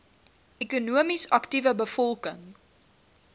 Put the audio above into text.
ekonomies aktiewe bevolking